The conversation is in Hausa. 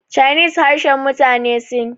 chinese harshen mutane sin